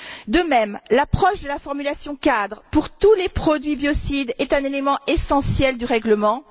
De même, l'approche de la formulation cadre pour tous les produits biocides est un élément essentiel du règlement.